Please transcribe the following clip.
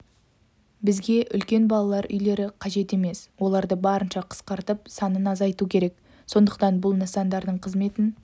бізге үлкен балалар үйлері қажет емес оларды барынша қысқартып санын азайту керек сондықтан бұл нысандардың қызметін